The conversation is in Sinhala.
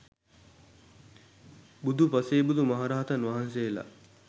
බුදු පසේ බුදු මහරහතන් වහන්සේලා